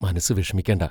മനസ്സു വിഷമിക്കണ്ട.